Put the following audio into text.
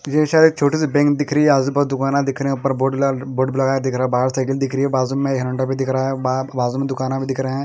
किसी शायद छोटी सी बैंक दिख रही है आजु-बाजु दुकाना दिख रहे हैं ऊपर बोर्ड ल बोर्ड लगाए दिख रहा है बाहर साइकिल दिख रही है बाजु में यहाँ झंडा भी दिख रहा है बा बाजु में दुकाना भी दिख रहे हैं।